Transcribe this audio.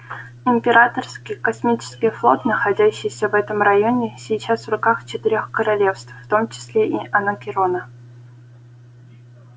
императорский космический флот находящийся в этом районе сейчас в руках четырёх королевств в том числе и анакреона